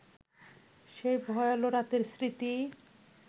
সেই ভয়াল রাতের স্মৃতি